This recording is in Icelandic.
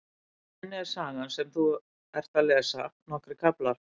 Í henni er sagan sem þú ert að lesa, nokkrir kaflar.